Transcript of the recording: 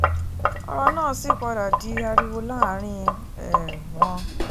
ọ̀rọ̀ náà sì padà di ariwo láàrin um wọn